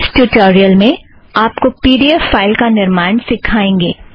इस ट्युटोरियल में आप पी ड़ी ऐफ़ फ़ाइल का निर्माण सिखेंगे